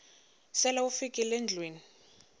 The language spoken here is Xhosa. sele ufikile endlwini